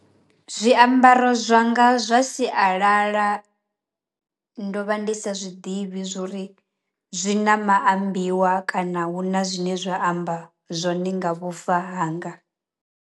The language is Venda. Zwiambaro zwanga zwa sialala ndo vha ndi sa zwiḓivhi zwori zwi na maambiwa kana hu na zwine zwa amba zwone nga vhufa hanga.